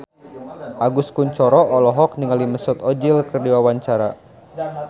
Agus Kuncoro olohok ningali Mesut Ozil keur diwawancara